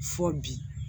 Fɔ bi